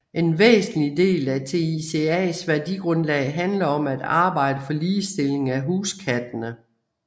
En væsentlig del af TICAs værdigrundlag handler om at arbejde for ligestilling af huskattene